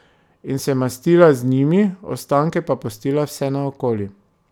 In se mastila z njimi, ostanke pa pustila vse naokoli.